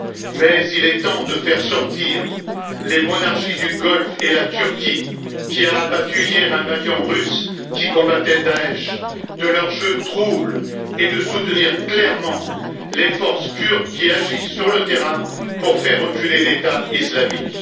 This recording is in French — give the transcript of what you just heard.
Mais il est temps de faire sortir les monarchies du Golfe et la Turquie qui a abattu hier un avion russe qui combattait Daesch de leurs jeux troubles et de soutenir clairement les forces kurdes qui agissent sur le terrain pour faire reculer l'État islamique.